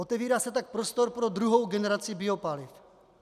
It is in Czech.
Otevírá se tak prostor pro druhou generaci biopaliv.